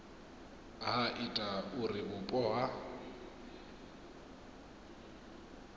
ha ita uri vhupo ha